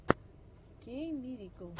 кеиммирикл